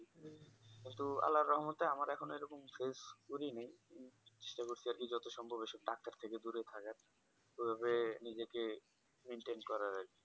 কিন্তু আল্লার রহমতে আমার এখনো এরকম শেষ করিনাই সেই অবস্থা আরকি যত সম্ভৰ এসব Doctor এর থেকে দূরে থাকার এভাবে নিজেকে Mantian করা আরকি